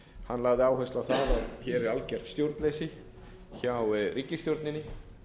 hann lagði áherslu á það að hér er algert stjórnleysi hjá ríkisstjórninni